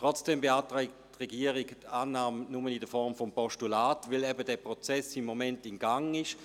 Trotzdem beantragt die Regierung die Annahme dieses Vorstosses nur in Form eines Postulats, weil dieser Prozess zurzeit im Gang ist;